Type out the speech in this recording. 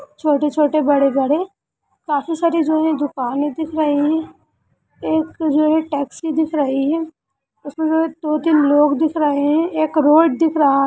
छोटे छोटे बड़े बड़े काफी सारे जो है दुकाने दिखाई है एक जो हैं टैक्सी दिख रही हैं उसमें जो है दो तीन लोग दिख रहे हैं एक रोड दिख रहा।